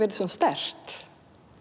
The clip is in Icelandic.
yrði svona sterkt